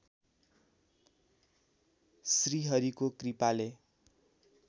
श्रीहरिको कृपाले